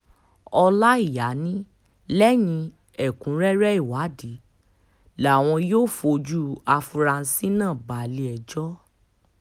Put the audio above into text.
ọláìyá ni lẹ́yìn ẹ̀kúnrẹ́rẹ́ ìwádìí làwọn yóò fojú àfurasí náà balẹ̀-ẹjọ́